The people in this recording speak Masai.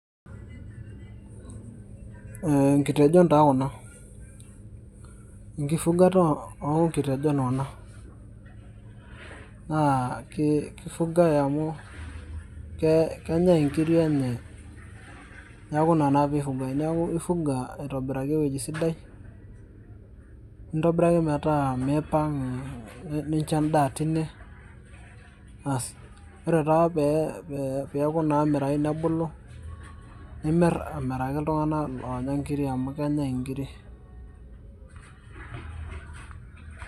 Eeh nkitejon taa kuna, enkifugata oonkitejon kuna ,na keifugai amu kenyai nkiri enye neaku ina taa peifugai, neaku ifuga aitobiraki tewueji sidai nintobiraki metaa miipang ,nincho endaa teine ,aasi ore taa pemirai nebulu nimir amiraki ltunganak onya nkirik amu kenyai nkirik